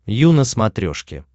ю на смотрешке